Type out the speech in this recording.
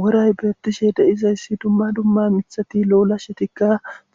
Woray beettishe deizayssi dumma dumma mithati lo'ola shetikka